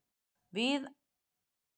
Við ætlum að fara í Nauthólsvík.